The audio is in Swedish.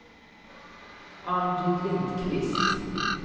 Ann-Britt Lindkvist